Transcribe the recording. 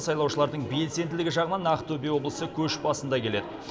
сайлаушылардың белсенділігі жағынан ақтөбе облысы көш басында келеді